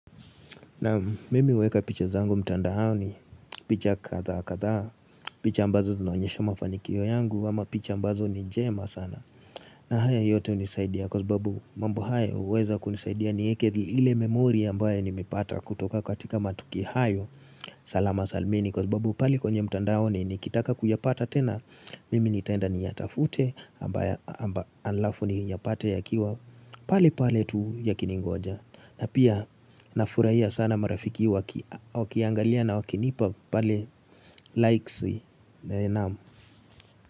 Naam mimi uweka picha zangu mtandaoni picha kadhaa kadhaa picha ambazo zinaonyesha mafanikio yangu ama picha ambazo ni njema sana na haya yote unisaidia kwa sababu mambo haya uweza kunisaidia nieeke ile memori ambaye nimepata kutoka katika matukio hayo salama salmini kwa sababu pale kwenye mtandaoni nikitaka kuyapata tena Mimi nitaenda ni yatafute amba alafu ni yapate yakiwa pale pale tu yakiningoja na pia na furahia sana marafiki wakiangalia na wakinipa pale likes e naam.